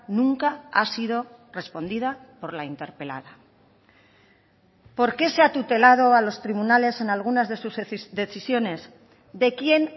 nunca ha sido respondida por la interpelada por qué se ha tutelado a los tribunales en algunas de sus decisiones de quién